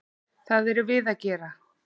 Það erum við að gera.